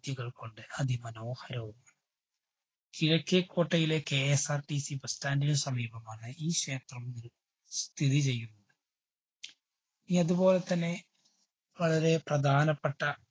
ദ്യകള്‍ കൊണ്ട് അതി മനോഹരവും, കിഴക്കേകോട്ടയിലെ KSRTCbus stand ന് സമീപമാണ് ഈ ക്ഷേത്രം സ്ഥിതിചെയ്യുന്നത്. ഇനി അതുപോലെ തന്നെ വളരെ പ്രധാനപ്പെട്ട